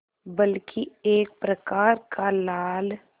बल्कि एक प्रकार का लाल